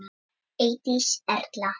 Eydís Erla.